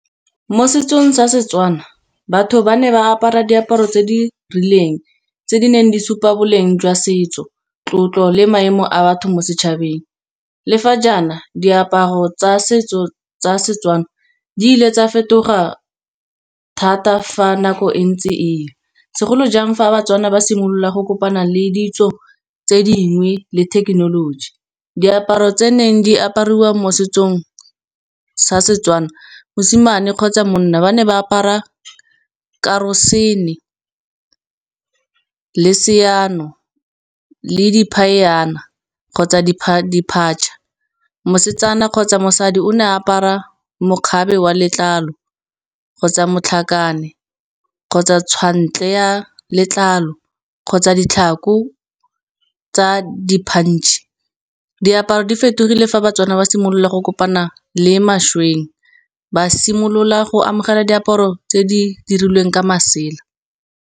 Mo setsong sa Setswana batho ba ne ba apara diaparo tse di rileng, tse di neng di supa boleng jwa setso, tlotlo le maemo a batho mo setšhabeng. Le fa jaana diaparo tsa setso tsa setswana di ile tsa fetoga thata fa nako e ntse e ya. Segolo jang fa Batswana ba simolola go kopana le ditso tse dingwe le thekenoloji, diaparo tse neng di apariwa mo setsong sa Setswana, mosimane kgotsa monna ba ne ba apara karosene, le seano, le di phayana, kgotsa diphatša. Mosetsana kgotsa mosadi o ne apara mokgabe wa letlalo, kgotsa motlhakane, kgotsa tshwantle ya letlalo, kgotsa ditlhako tsa di-punch. Diaparo di fetogile fa Batswana ba simolola go kopana le mo mašweng ba simolola go amogela diaparo tse di dirilweng ka masela.